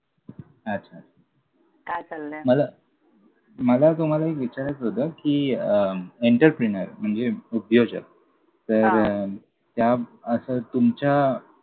अच्छा, अच्छा, अच्छा! काय चाललंय? मला मला तुम्हाला एक विचारायचं होतं कि अं entrepreneur म्हणजे उद्योजक हां तर त्या असं तुमच्या